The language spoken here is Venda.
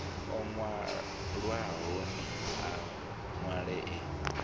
o nwalwahoni a nwale e